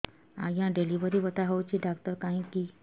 ଆଜ୍ଞା ଡେଲିଭରି ବଥା ହଉଚି ଡାକ୍ତର କାହିଁ କି